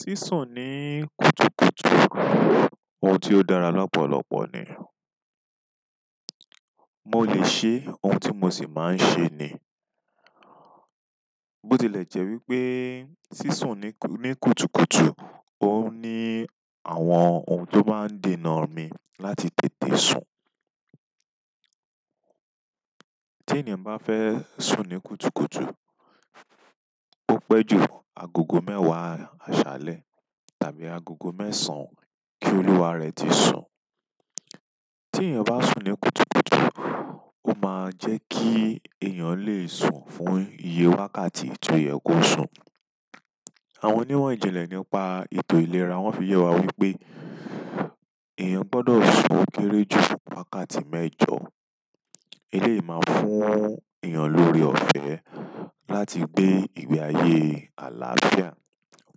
Sisun ni kùtùkùtù oun ti o dára lọpọlọpọ nii mo le ṣe ohun tí mo ṣì máa ń ṣe ni. Bó tilẹ̀ jẹ́ wípé sísùn ní kùtùkùtù, ó ní àwọn ohun tó máa ń dènà mi láti tètè sùn. Tí ènìyàn bá fẹ́ sùn ní kùtùkùtù, ó pẹ́ ju agogo mẹ́wàá àṣálẹ́ tàbí agogo mẹ́sàn-án kí olúwa rẹ̀ ti sùn. Ti eyan ba sun ni kùtùkùtù, o maa jẹ ki eyan le sun fún iye eakayi to yẹ ko sun. Àwọn onímọ̀ ìjìnlẹ̀ nípa ètò ìlera wọ́n fi yẹ wá wípé èèyàn gbọdọ̀ sùn kéré jù wákàtí mẹ́jọ. Eléyìí máa ń fún èèyàn lóre ọ̀fẹ́ láti gbé ìwé ayé àlàáfíà.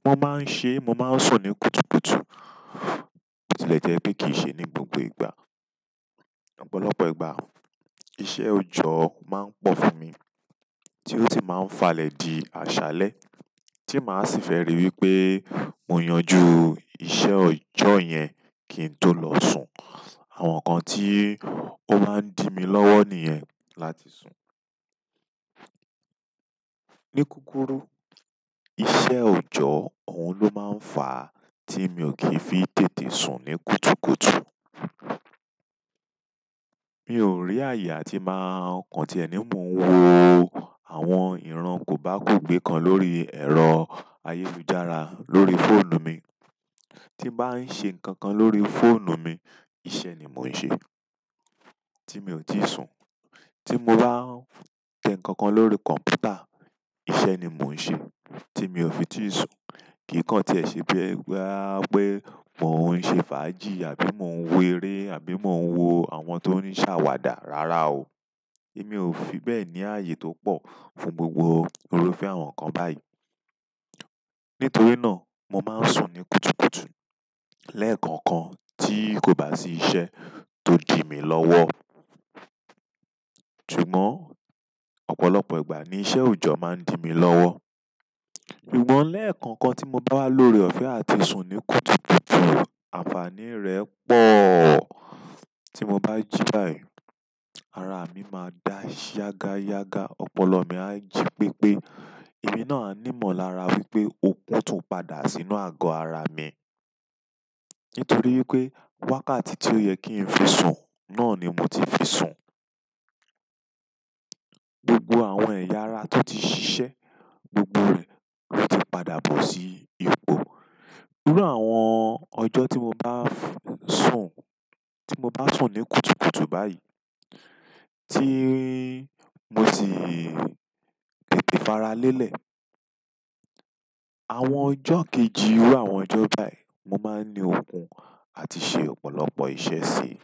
Mo máa ń ṣe, mo máa ń sùn ní kùtùkùtù, bó tilẹ̀ jẹ́ pé kì í ṣe ní gbogbo ìgbà. Ọ̀pọ̀lọpọ̀ ìgbà, iṣẹ́ òjọ́ máa ń pọ fún mi tí ó sì máa ń falẹ̀ di àṣálẹ́ tí màá sì fẹ́ rí wípé mo yanjú iṣẹ́ òjọ́ yẹn kí n tó lọ sùn. Àwọn nǹkan tí ó máa ń di mi lọ́wọ́ nìyẹn láti sùn. Ni kúrúkùru, iṣẹ́ òjọ́, òun ló máa ń fa tí mi ò kì í fi tètè sùn ní kùtùkùtù. Mi ò rí àyè àti máa kan tiẹ ní, mò ń wo àwọn ìran kò bá kò gbé kan lórí ẹ̀rọ ayélujára lórí fóònù mi. Tí bàá ń ṣe nǹkan kan lórí fóònù mi, iṣẹ́ ni mò ń ṣe tí mi ò tíì sùn. Tí mo bán tẹ nǹkan kan lórí kọ̀ǹpútà, iṣẹ́ ni mò ń ṣe tí mi ò fi tí sùn. Kii kan tiẹ ṣe pe bọya pe mo n ṣe fàájì, àbí mo n wo ere àbí mo n wo àwọn to n ṣawada. Rárá o, èmi ò fi bẹ́ẹ̀ ní ààyè tó pọ fún gbogbo irúfẹ́ àwọn nǹkan báyìí. Nítorí náà, mo máa ń sùn ní kùtùkùtù lẹ́ẹ̀kọ̀kan tí kò bá sí iṣẹ́ tó di mi lọ́wọ́. Ṣùgbọ́n, ọ̀pọ̀lọpọ̀ ìgbà ni iṣẹ́ oojọ maa n di mi lọwọ. Ṣùgbọ́n lẹ́ẹ̀kọ̀kan tí mo bá wà lóore ọ̀fẹ́ àti sùn ní kùtùkùtù, àǹfàní rẹ̀ pọ̀. Tí mo bá jí báyìí, ara mi máa dá yagayaga, ọpọlọ mi á jí pepe, èmi náà á ní ìmọ̀lára wípé okun tún padà sínú àgọ́ ara mi. Nítorí wípé wákàtí tí ó yẹ kí ń fi sùn náà ni mo ti fi sùn. Gbogbo àwọn ẹ̀yà ara tó ti ṣiṣẹ, gbogbo rẹ̀ ló ti padà bọ́ sí ipò. Iru àwọn ọjọ́ tí mo bá sùn, tí mo bá sùn ní kùtùkùtù báyìí tí mo sì tètè faralelẹ̀, àwọn ọjọ́ kejì iru àwọn ọjọ́ báyìí, mo máa ń ní okun àti ṣe ọ̀pọ̀lọpọ̀ iṣẹ́ sí i.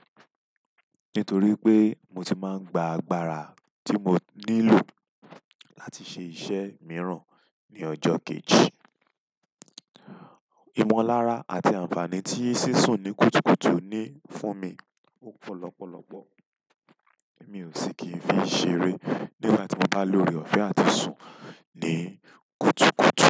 Nítorí pé mo ti máa ń gba agbára tí mo nílò láti ṣe iṣẹ́ mìíràn ní ọjọ́ kejì. Ìmọ̀lára àti àǹfàní tí sísùn ní kùtùkùtù ní fún mi ò pọ̀ lọpọlọpọ. Èmi ò sì kì í fi ṣeré nígbà tí mo bá lóre ọ̀fẹ́ àti sùn ní kùtùkùtù.